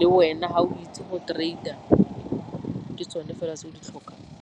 le wena ga o itse go trader ke tsone fela tse o di tlhokang.